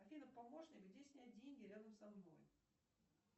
афина помощник где снять деньги рядом со мной